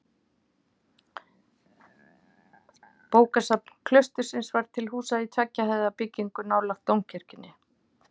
Bókasafn klaustursins var til húsa í tveggja hæða byggingu nálægt dómkirkjunni.